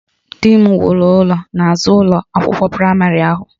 Di m wuru ụlọ n'azụ ụlọ akwụkwọ praịmarị ahụ